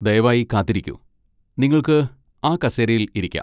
ദയവായി കാത്തിരിക്കൂ, നിങ്ങൾക്ക് ആ കസേരയിൽ ഇരിക്കാം.